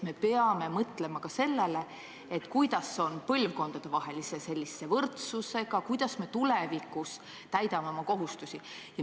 Me peame mõtlema ka sellele, kuidas on lood põlvkondadevahelise võrdsusega, kuidas me tulevikus täidame oma kohutusi.